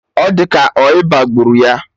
Ọ di ka ọ ịba gburu ya